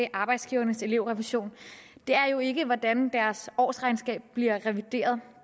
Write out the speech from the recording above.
arbejdsgivernes elevrefusion jo ikke er hvordan deres årsregnskab bliver revideret